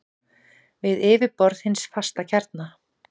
við yfirborð hins fasta kjarna.